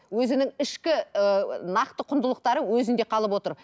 өзінің ішкі ііі нақты құндылықтары өзінде қалып отыр